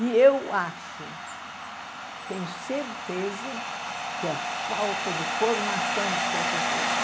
E eu acho, tenho certeza, que é a falta de formação dos professores.